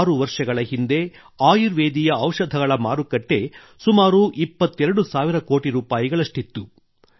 6 ವರ್ಷಗಳ ಹಿಂದೆ ಆಯುರ್ವೇದೀಯ ಔಷಧಿಗಳ ಮಾರುಕಟ್ಟೆ ಸುಮಾರು 22 ಸಾವಿರ ಕೋಟಿ ರೂಪಾಯಿಗಳಷ್ಟಿತ್ತು